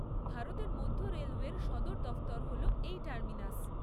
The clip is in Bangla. ভারতের মধ্য রেলওয়ের সদর দফতর হল এই টার্মিনাস।